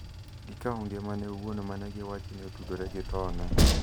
gi kawo ngimane owuon ma ne iwacho ni otudore gi thone.